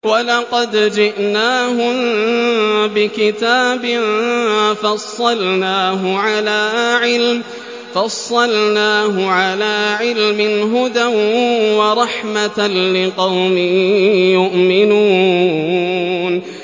وَلَقَدْ جِئْنَاهُم بِكِتَابٍ فَصَّلْنَاهُ عَلَىٰ عِلْمٍ هُدًى وَرَحْمَةً لِّقَوْمٍ يُؤْمِنُونَ